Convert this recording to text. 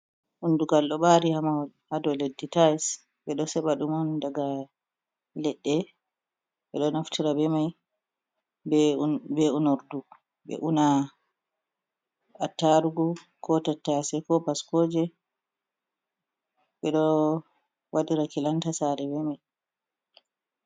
Undugal ɗo ɓari ha mahol ha dou leddi tais, ɓe ɗo seɓa ɗum on daga leɗɗe, ɓeɗo naftira be mai be unordu ɓe una a tarugu, ko tattase, ko baskoje, ɓe ɗo waɗira kilanta sare be mai.